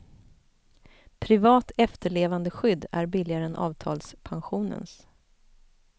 Privat efterlevandeskydd är billigare än avtalspensionens.